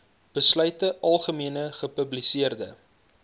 besluite algemene gepubliseerde